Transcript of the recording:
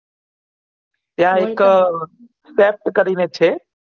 ત્યાં એક ચેપ્ટ કરીને છે